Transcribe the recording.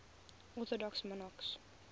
orthodox monarchs